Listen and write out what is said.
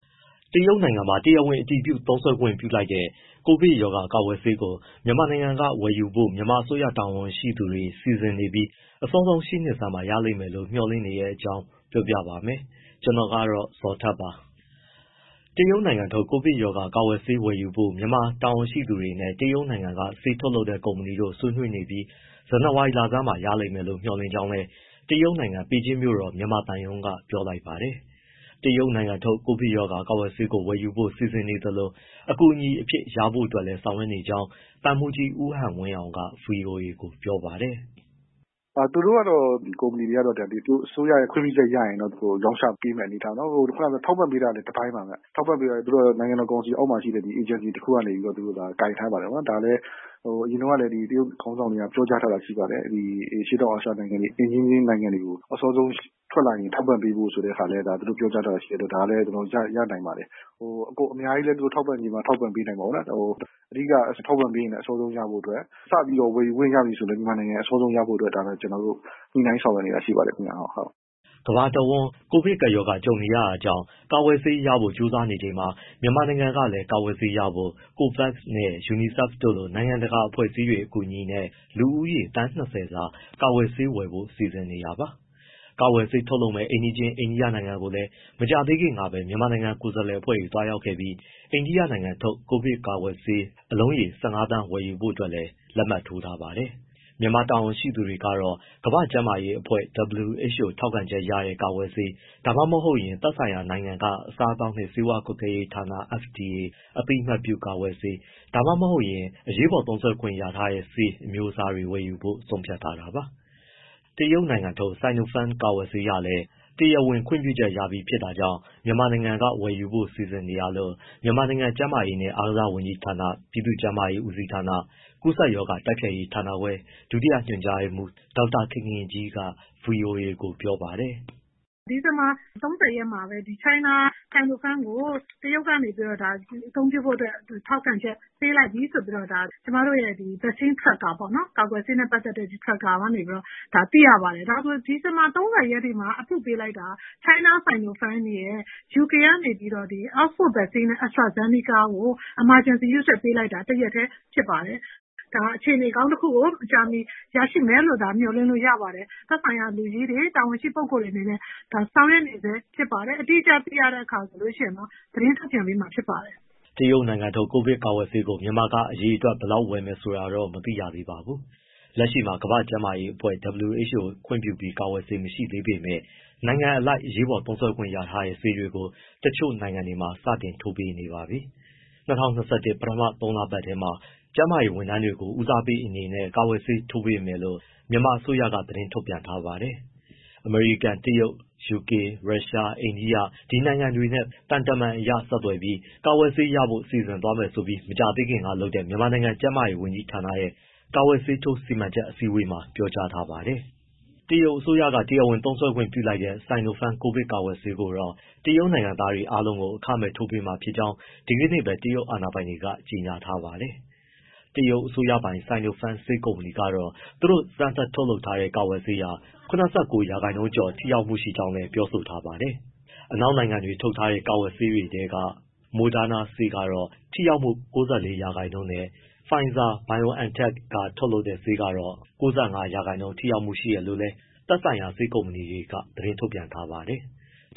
တရုတ်နိုင်ငံမှာ တရားဝင်အတည်ပြု သုံးစွဲခွင့်ပြုလိုက်တဲ့ ကိုဗစ်ရောဂါ ကာကွယ်ဆေးကို မြန်မာနိုင်ငံက ဝယ်ယူဖို့ မြန်မာအစိုးရ တာဝန်ရှိသူတွေ စီစဉ်နေပြီး အစောဆုံး ရှေ့နှစ်ဆန်းမှာ ရလိမ့်မယ်လို့ မျှော်လင့်နေတဲ့အကြောင်းကို ဗွီအိုအေမြန်မာပိုင်းသတင်းထောက် ကိုဇော်ထက်က ပြောပြပေးမှာပါ။ တရုတ်နိုင်ငံထုတ် ကိုဗစ်ကာကွယ်ဆေးဝယ်ယူဖို့ မြန်မာတာဝန်ရှိသူတွေနဲ့ တရုတ်နိုင်ငံက ဆေးထုတ်လုပ်တဲ့ကုမ္ပဏီတို့ ဆွေးနွေးနေပြီး ဇန်နဝါရီလဆန်းပိုင်းမှာ ရလိမ့်မယ်လို့ မျှော်လင့်ကြောင်းလည်း တရုတ်နိုင်ငံပေကျင်းမြို့တော်၊ မြန်မာသံရုံးက ပြောလိုက်ပါတယ်။ တရုတ်နိုင်ငံထုတ် ကိုဗစ်ရောဂါ ကာကွယ်ဆေးကို ဝယ်ယူဖို့ စီစဉ်နေသလို အကူအညီအဖြစ် ရရှိဖို့လည်း ဆောင်ရွက်နေကြောင်း သံမှူးကြီး ဦးဟန်ဝင်းအောင်က ဗွီအိုအေကို ပြောပါတယ်။ “သူတို့ကတော့ ကုမ္ပဏီတွေကတော့ သူတို့အစိုးရရဲ့ ခွင့်ပြုချက် ရရင်တော့ ရောင်းချပေးမယ့် အနေအထားပေါ့။ ထောက်ပံ့ပေးတာလည်း တပိုင်းပါဗျ၊ ထောက်ပံ့ပေးတာက နိုင်ငံတော်ကောင်စီ အောက်မှာရှိတဲ့ အေဂျင်စီတခုကနေ ကိုင်ထားပါတယ်။ ဒါလည်း အရင်တုန်းကလည်း တရုတ်ခေါင်းဆောင်တွေ ပြောကြားထားတာ ရှိပါတယ်။ အရှေ့တောင်အာရှ နိုင်ငံတွေ အိမ်နီးချင်းနိုင်ငံတွေကို ထွက်လာရင် အစောဆုံး ထောက်ပံ့ပေးဖို့ ဆိုတဲ့ဟာလည်း သူတို့ပြောကြားထားတာရှိတော့ ဒါလည်းရနိုင်ပါတယ်။ အကုန်အများကြီးလည်း သူတို့ ထောက်ပံ့ချင်မှ ထောက်ပံ့နိုင်မှာပေါ့နော်။ အဓိကတော့ ထောက်ပံ့ပေးရင်လည်း မြန်မာနိုင်ငံ အစောဆုံးရဖို့အတွက် စပြီးတော့ ဝယ်ယူခွင့် ရပြီဆိုရင်လည်း မြန်မာနိုင်ငံ အစောဆုံးရဖို့အတွက် ကျနော်တို့ ညှိနှိုင်း ဆောင်ရွက်နေတာ ရှိပါတယ်။” ကမ္ဘာအဝန်း ကိုဗစ်ကပ်ရောဂါကြုံနေရတာကြောင့် ကာကွယ်ဆေးရဖို့ ကြိုးစားနေကြချိန်မှာ မြန်မာနိုင်ငံကလည်း ကာကွယ်ဆေးရဖို့ COVAX နဲ့ UNICEF တို့လို နိုင်ငံတကာ အဖွဲ့အစည်းတွေ အကူအညီနဲ့ လူဦးရေ သန်း ၂၀ စာ ကာကွယ်ဆေးဝယ်ဖို့ စီစဉ်နေပါတယ်။ ကာကွယ်ဆေး ထုတ်လုပ်မယ့် အိမ်နီးချင်း အိန္ဒိယနိုင်ငံကိုလည်း မကြာသေးခင်ကပဲ မြန်မာကိုယ်စားလှယ်တွေ သွားရောက်ခဲ့ပြီး အိန္ဒိယနိုင်ငံထုတ် ကိုဗစ်ကာကွယ်ဆေး ထိုးဆေး အလုံးရေ ၁၅ သန်းဝယ်ဖို့လည်း လက်မှတ်ထိုးထားပါတယ်။ မြန်မာတာဝန်ရှိသူတွေကတော့ ကမ္ဘာ့ကျန်းမာရေးအဖွဲ့ WHO ကထောက်ခံချက်ရတဲ့ ကာကွယ်ဆေး၊ ဒါမှမဟုတ်ရင်လည်း သက်ဆိုင်ရာနိုင်ငံက အစားအသောက်နှင့် ဆေးဝါးကွပ်ကဲရေးဌာန FDA အသိအမှတ်ပြု ကာကွယ်ဆေး၊ ဒါမှမဟုတ် အရေးပေါ် အသုံးပြုခွင့်ရထားတဲ့ဆေး အမျိုးအစားတွေကို ဝယ်ယူဖို့ ဆုံးဖြတ်ထားတာပါ။ တရုတ်နိုင်ငံထုတ် Sinopharm ကာကွယ်ဆေးဟာလည်း တရားဝင် ခွင့်ပြုချက်ရပြီးဖြစ်တာကြောင့် မြန်မာနိုင်ငံက ဝယ်ယူဖို့ စီစဉ်နေတာလို့ မြန်မာနိုင်ငံ ကျန်းမာရေးနဲ့အားကစားဝန်ကြီးဌာန ပြည်သူ့ကျန်းမာရေး ဦးစီးဌာန၊ ကူးစက်ရောဂါ တိုက်ဖျက်ရေးဌာနခွဲ ဒုတိယညွှန်ကြားရေးမှူး ဒေါက်တာခင်ခင်ကြီးက ဗွီအိုအေကို ပြောပါတယ်။ “ဒီဇင်ဘာ ၃၀ ရက်မှာ China Sinopharm ကို တရုတ်ကနေ အသုံးပြုဖို့အတွက် ထောက်ခံချက် ပေးလိုက်ပြီဆိုပြီဆိုပြီး ကျမတို့ရဲ့ vaccine tracker ပေါ့နော်... ကာကွယ်ဆေးနဲ့ ပတ်သက်တဲ့ tracker ကနေပြီးတော့ သိရပါတယ်။ ဒါဆို ဒီဇင်ဘာ ၃၀ ရက်မှာ approve ပေးလိုက်တာ China Sinopharm ရယ်၊ UK ကနေပြီးတော့ Oxford Vaccine AstraZeneca ကို အရေးပေါ်အသုံးပြုခွင့် ပေးလိုက်တာ တရက်တည်း ဖြစ်ပါတယ်။ ဒါအခြေအနေကောင်း တခုကို မကြာမီရရှိမယ်လို့ မျှော်လင့်လို့ရပါတယ်။ သက်ဆိုင်ရာလူကြီးတွေ တာဝန်ရှိပုဂ္ဂိုလ်တွေ အနေနဲ့ ဆောင်ရွက်နေဆဲဖြစ်ပါတယ်။ အတိအကျ သိရရင်တော့ သတင်းထုတ်ပြန်ပေးမှာ ဖြစ်ပါတယ်။” တရုတ်နိုင်ငံထုတ် ကိုဗစ်ကာကွယ်ဆေးကို မြန်မာက အရေအတွက် ဘယ်လောက် ဝယ်မယ်ဆိုတာတော့ မသိရသေးပါဘူး။ လက်ရှိမှာ ကမ္ဘာ့ကျန်းမာရေးအဖွဲ့ WHO ခွင့်ပြုပြီး ကာကွယ်ဆေးမရှိသေးပေမဲ့ နိုင်ငံအလိုက် အရေးပေါ်သုံးစွဲခွင့်ရထားတဲ့ ဆေးတွေကို တချို့နိုင်ငံတွေမှာ စတင်ထိုးပေးနေပါပြီ။ ၂၀၂၁ ပထမသုံးလပတ်ထဲမှာ ကျန်းမာရေးဝန်ထမ်းတွေကို ဦးစားပေးအနေနဲ့ ကာကွယ်ဆေးထိုးပေးမယ်လို့ မြန်မာအစိုးရက သတင်းထုတ်ပြန်ထားပါတယ်။ အမေရိကန်၊ တရုတ်၊ ယူကေ၊ ရုရှား၊ အိန္ဒိယ ဒီနိုင်ငံတွေနဲ့ သံတမန်အရ ဆက်သွယ်ပြီး ကာကွယ်ဆေးရဖို့ စီစဉ်သွားမယ်ဆိုပြီး မကြာသေးခင်ကလုပ်တဲ့ မြန်မာနိုင်ငံ ကျန်းမာရေး ဝန်ကြီးဌာနရဲ့ ကာကွယ်ဆေးထိုး စီမံချက်အစည်းအဝေးမှာ ပြောကြားထားပါတယ်။ တရုတ်အစိုးရက တရားဝင်သုံးစွဲခွင့်ပြုလိုက်တဲ့ Sinopharm ကိုဗစ်ရောဂါကာကွယ်ဆေးကိုတော့ တရုတ်နိုင်ငံသားအားလုံးကို အခမဲ့ ထိုးပေးမှာဖြစ်ကြောင်း ဒီကနေ့ပဲ တရုတ်အာဏာပိုင်တွေက ကြေညာထားပါတယ်။ တရုတ်အစိုးရပိုင် Sinopharm ဆေးကုမ္ပဏီကတော့ သူတို့စမ်းသပ်ထုတ်လုပ်ထားတဲ့ ကာကွယ်ဆေးဟာ ၇၉ ရာခိုင်နှုန်းကျော် ထိရောက်မှုရှိကြောင်း ပြောဆိုထားပါတယ်။ အနောက်နိုင်ငံတွေက ထုတ်လုပ်တဲ့ ကာကွယ်ဆေးတွေထဲက Moderna ဆေးကတော့ ထိရောက်မှု ၉၄ ရာခိုင်နှုန်းနဲ့ Pfizer/BioNTech ကထုတ်လုပ်တဲ့ ဆေးက ၉၅ ရာခိုင်နှုန်း ထိရောက်မှု ရှိတယ်လို့လည်း သက်ဆိုင်ရာ ဆေးကုမ္ပဏီတွေက သတင်းထုတ်ပြန်ထားပါတယ်။